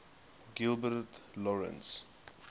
gilbert lawrence